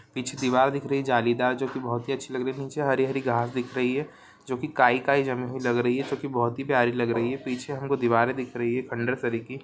पीछे दीवार दिख रही जालीदार जो कि बहोत अच्छी लग रही नीचे हरी- हरी घास दिख रही है जो कि काई -काई जमी हुई लग रही है जो की बहोत ही प्यारी लग रही है पीछे हमको दिवारे दिख रही है खंडहर तरह की--